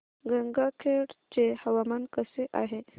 गंगाखेड चे हवामान कसे आहे